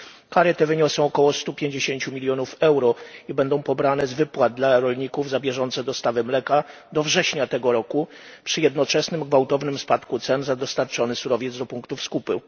Kary te wyniosą około 150 milionów euro i będą pobrane z wypłat dla rolników za bieżące dostawy mleka do września tego roku, przy jednoczesnym gwałtownym spadku cen za dostarczony surowiec do punktów skupu.